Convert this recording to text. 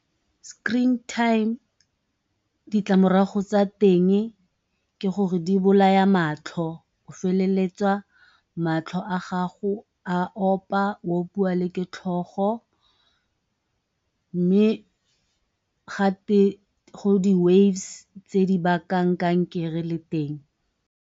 Screen time ditlamorago tsa teng ke gore di bolaya matlho o feleletsa matlho a gago a opa, o opiwa le ke tlhogo mme gate go di waves tse di bakang kankere le teng.